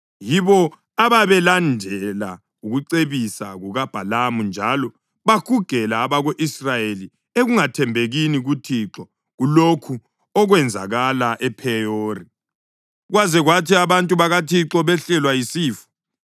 Yibo ababelandela ukucebisa kukaBhalamu njalo bahugela abako-Israyeli ekungathembekini kuThixo kulokhu okwenzakala ePheyori, kwaze kwathi abantu bakaThixo behlelwa yisifo.